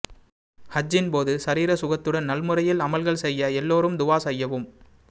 ஹஜ்ஜின்போது சரீர சுகத்துடன் நல்லமுறையில் அமல்கள் செய்ய எல்லோரும் துவா செய்யவும்